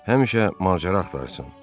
Həmişə macəra axtarsın.